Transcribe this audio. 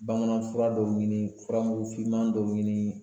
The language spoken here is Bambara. Bamanan fura dɔw ɲini, furamugu finman dɔw ɲini